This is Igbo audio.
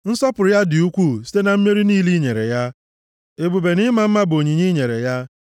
Nsọpụrụ ya dị ukwuu site na mmeri niile i nyere ya, ebube na ịma mma bụ onyinye i nyere ya.